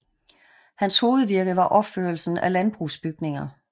Hans hovedvirke var opførelsen af landbrugsbygninger